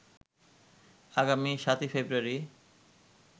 আগামী ৭ই ফেব্রুয়ারি